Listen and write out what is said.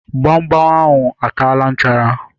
Gbamgbam ahụ a taala nchara